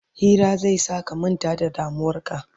Hira zai sa ka manta da damuwarka